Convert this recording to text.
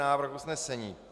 Návrh usnesení: